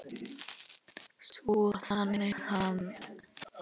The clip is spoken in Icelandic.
Svo þagnaði hann.